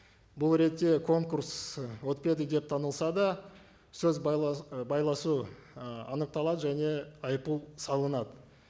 бұл ретте конкурс ы өтпеді деп танылса да сөз ы байласу ы анықталады және айыппұл салынады